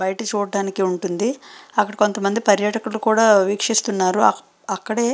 బయట చూడడానికి వుంటుంది అక్కడ కొంతమంది పర్యతుకుల్లు కూడా వికుస్త్వునారు అక్కడ అక్కడే --